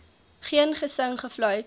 geen gesing gefluit